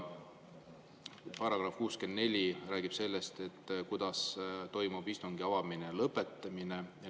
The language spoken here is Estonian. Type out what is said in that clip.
Paragrahv 64 räägib sellest, kuidas toimub istungi avamine ja lõpetamine.